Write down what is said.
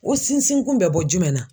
O sinsinkun bɛ bɔ jumɛn na ?